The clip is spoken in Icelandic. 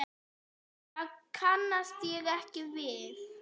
Það kannast ég ekki við.